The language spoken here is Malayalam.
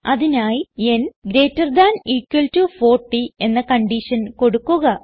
അതിനായി n gt 40 എന്ന കൺഡിഷൻ കൊടുക്കുക